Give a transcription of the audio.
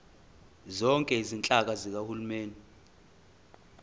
zonke izinhlaka zikahulumeni